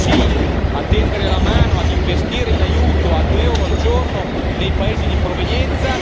Dico sì a tendere la mano, a investire in aiuto a 2 euro al giorno nei paesi di provenienza